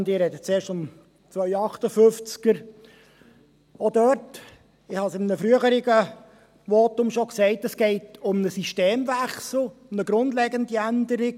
Auch dort, ich habe dies in einem früheren Votum schon gesagt, geht es um einen Systemwechsel, um eine grundlegende Änderung.